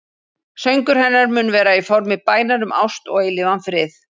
Söngur hennar mun vera í formi bænar um ást og eilífan frið.